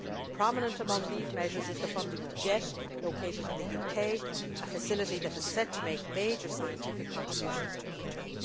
Prominent among these measures is the funding of JET, located in the UK a facility that is set to make major scientific contributions to ITER.